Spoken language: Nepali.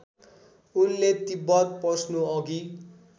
उनले तिब्बत पस्नु अघि